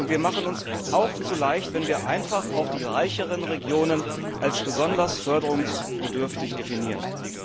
Wir machen es uns auch zu leicht, wenn wir einfach auch die reicheren Regionen als besonders förderungsbedürftig definieren.